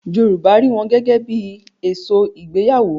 Yorùbá rí wọn gẹ́gẹ́ bí I èso ìgbéyàwó.